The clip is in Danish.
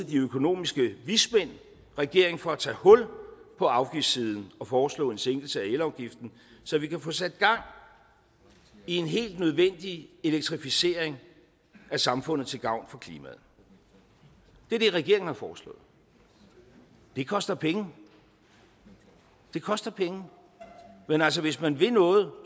de økonomiske vismænd regeringen for at tage hul på afgiftssiden og foreslå en sænkelse af elafgiften så vi kan få sat gang i en helt nødvendig elektrificering af samfundet til gavn for klimaet det er det regeringen har foreslået det koster penge det koster penge men altså hvis man vil noget